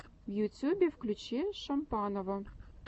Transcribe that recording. в ютюбе включи шампанова